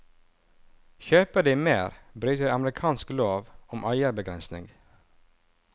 Kjøper de mer, bryter de amerikansk lov om eierbegrensning.